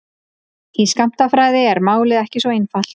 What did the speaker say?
Í skammtafræði er málið ekki svona einfalt.